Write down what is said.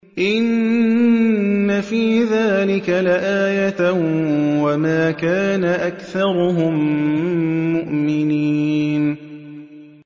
إِنَّ فِي ذَٰلِكَ لَآيَةً ۖ وَمَا كَانَ أَكْثَرُهُم مُّؤْمِنِينَ